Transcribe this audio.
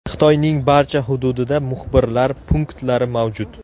Xitoyning barcha hududida muxbirlar punktlari mavjud.